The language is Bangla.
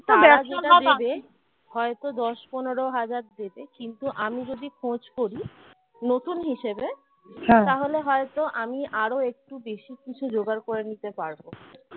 হয়তো দশ-পনেরো হাজার দেবে কিন্তু আমি যদি খোঁজ করি নতুন হিসেবে তাহলে হয়তো আমি আরো একটু বেশি কিছু জোগাড় করে নিতে পারব